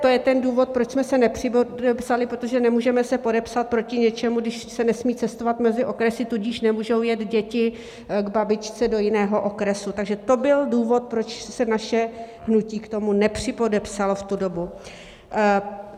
To je ten důvod, proč jsme se nepřipodepsali, protože se nemůžeme podepsat proti něčemu, když se nesmí cestovat mezi okresy, tudíž nemůžou jet děti k babičce do jiného okresu, takže to byl důvod, proč se naše hnutí k tomu nepřipodepsalo v tu dobu.